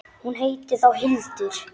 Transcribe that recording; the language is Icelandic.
Hún heitir þá Hildur!